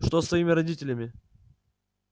что с твоими родителями